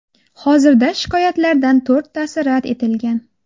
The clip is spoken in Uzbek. Hozirda shikoyatlardan to‘rttasi rad etilgan.